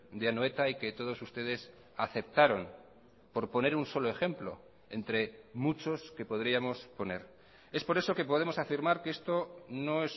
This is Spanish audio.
de anoeta y que todos ustedes aceptaron por poner un solo ejemplo entre muchos que podríamos poner es por eso que podemos afirmar que esto no